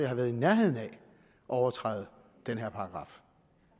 har været i nærheden af at overtræde den her paragraf